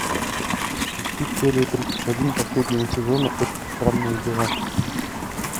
включи серию тридцать один последнего сезона очень странные дела